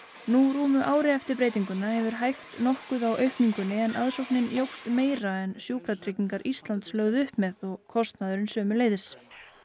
nú rúmu ári eftir breytinguna hefur hægt nokkuð á aukningunni en aðsóknin jókst meira en Sjúkratryggingar Íslands lögðu upp með og kostnaðurinn sömuleiðis